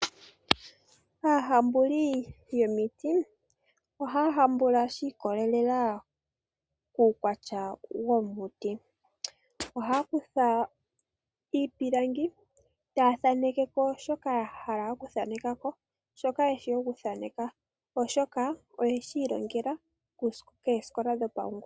Aahambuli yomiti ohaya hambula shiikwatelela kuukwatya womiti. Ohaya kutha iipilangi e taya thaaneke shoka yahala okuthaneka oshoka oyeshi ilongela koosikola dhopaungomba.